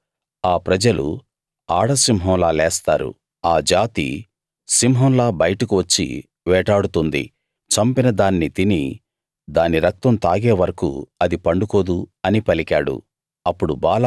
చూడు ఆ ప్రజలు ఆడసింహంలా లేస్తారు ఆ జాతి సింహంలా బయటకు వచ్చి వేటాడుతుంది చంపిన దాన్ని తిని దాని రక్తం తాగే వరకూ అది పండుకోదు అని పలికాడు